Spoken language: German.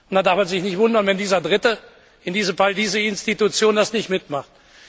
Da darf man sich nicht wundern, wenn dieser Dritte, in diesem Fall diese Institution, das nicht mitmacht.